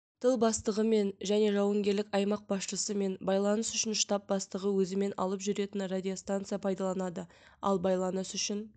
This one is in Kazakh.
тыл бастығымен және жауынгерлік аймақ басшысымен байланыс үшін штаб бастығы өзімен алып жүретін радиостанция пайдаланады ал байланыс үшін